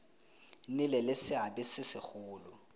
nnile le seabe se segolo